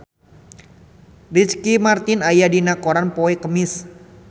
Ricky Martin aya dina koran poe Kemis